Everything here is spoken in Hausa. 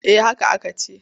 Eh haka aka ce.